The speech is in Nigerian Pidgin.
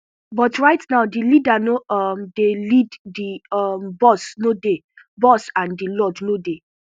but right now di leader no um dey lead di um boss no dey boss and di lord no dey